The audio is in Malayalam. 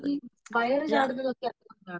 ഈ വയറു ചാടുന്നത് ഒക്കെ അതുകൊണ്ടാണോ